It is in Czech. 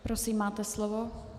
Prosím, máte slovo.